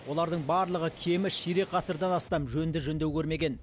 олардың барлығы кемі ширек ғасырдан астам жөнді жөндеу көрмеген